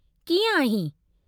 कीअं आहीं?